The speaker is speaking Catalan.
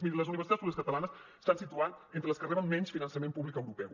miri les universitats públiques catalanes s’estan situant entre les que reben menys finançament públic europeu